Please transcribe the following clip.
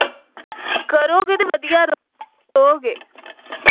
ਕਰੋਗੇ ਤੇ ਵਧੀਆ ਰਹੋਗੇ ।